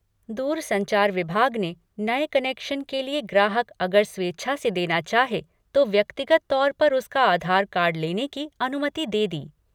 दूरसंचार विभाग ने नए कनेक्शन के लिए ग्राहक अगर स्वेच्छा से देना चाहे तो व्यक्तिगत तौर पर उसका आधार कार्ड लेने की अनुमति दे दी।